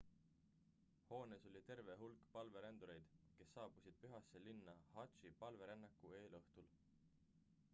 hoones oli terve hulk palverändureid kes saabusid pühasse linna hadži palverännaku eelõhtul